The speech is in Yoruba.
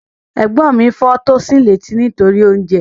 Ẹ̀gbọ́n mi fọ́ Tosin létí nítorí oúnjẹ